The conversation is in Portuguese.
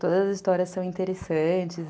Todas as histórias são interessantes.